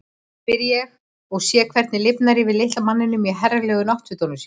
spyr ég og sé hvernig lifnar yfir litla manninum í herralegu náttfötunum sínum.